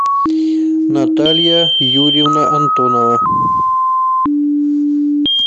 наталья юрьевна антонова